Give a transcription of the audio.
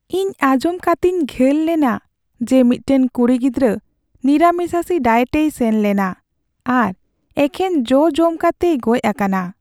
ᱤᱧ ᱟᱸᱡᱚᱢ ᱠᱟᱛᱤᱧ ᱜᱟᱹᱞ ᱞᱮᱱᱟ ᱡᱮ ᱢᱤᱫᱴᱟᱝ ᱠᱩᱲᱤ ᱜᱤᱫᱽᱨᱟᱹ ᱱᱤᱨᱟᱢᱤᱥᱟᱥᱤ ᱰᱟᱭᱮᱴᱮᱭ ᱥᱮᱱ ᱞᱮᱱᱟ ᱟᱨ ᱮᱠᱷᱮᱱ ᱡᱚ ᱡᱚᱢ ᱠᱟᱛᱮᱭ ᱜᱚᱡ ᱟᱠᱟᱱᱟ ᱾